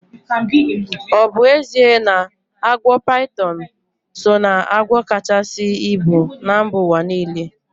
Ọ bụ ezie na agwọ paitọn so ná agwọ kachasi ibu na mba ụwa niile?